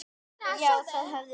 Já, það höfum við.